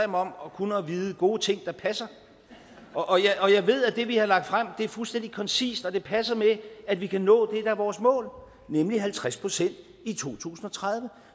om kun at vide gode ting der passer og jeg ved at det vi har lagt frem er fuldstændig koncist og at det passer med at vi kan nå det der er vores mål nemlig halvtreds procent i to tusind og tredive